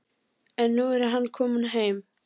En nú er hann kominn heim.